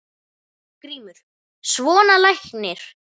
GRÍMUR: Svona læknir.